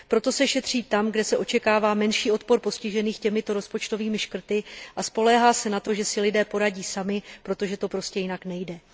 Proto se šetří tam, kde se očekává menší odpor postižených těmito rozpočtovými škrty, a spoléhá se na to, že si lidé poradí sami, protože to prostě jinak nejde.